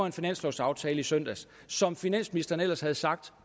en finanslovsaftale i søndags som finansministeren ellers havde sagt